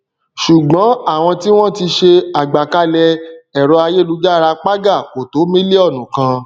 ṣùgbọn àwọn tí wọn tí ṣe àgbàkalẹ ẹrọayélujára paga kò tó mílíònù kan